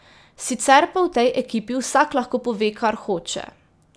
Sicer pa v tej ekipi vsak lahko pove, kar hoče.